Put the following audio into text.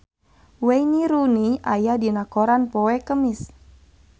Wayne Rooney aya dina koran poe Kemis